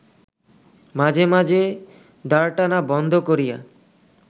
মাঝে মাঝে দাঁড়টানা বন্ধ করিয়া